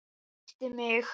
Hún kyssti mig!